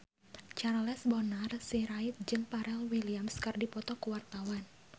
Charles Bonar Sirait jeung Pharrell Williams keur dipoto ku wartawan